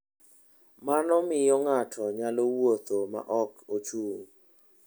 Mano miyo ng'ato nyalo wuotho ma ok ochung'.